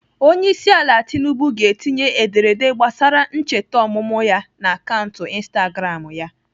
Onyeisiala Tinubu ga-etinye ederede gbasara ncheta ọmụmụ ya n'akaụntụ Instagram ya.